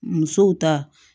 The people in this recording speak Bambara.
Musow ta